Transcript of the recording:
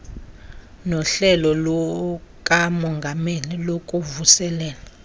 nohlelo lukamongameli lokuvuselela